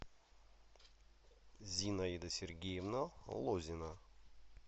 зинаида сергеевна лозина